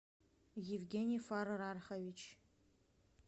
евгений фарарархович